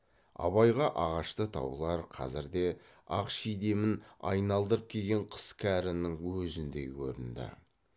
абайға ағашты таулар қазірде ақ шидемін айналдырып киген қыс кәрінің өзіндей көрінді